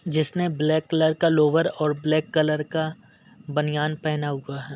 जिसने black colour का lower और ब्लैक कलर का बानियान पहना हुआ है।